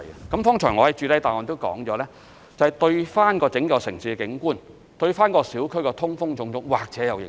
我剛才在主體答覆也指出，這對整個城市的景觀、小區的通風等，或許有影響。